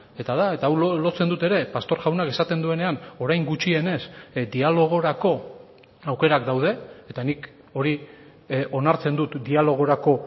eta da eta hau lotzen dut ere pastor jaunak esaten duenean orain gutxienez dialogorako aukerak daude eta nik hori onartzen dut dialogorako